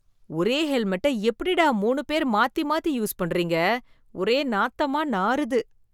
ஒரே ஹெல்மெட்ட எப்படிடா மூணு பேர் மாத்தி, மாத்தி யூஸ் பண்றீங்க ஒரே நாத்தமா நாறுது.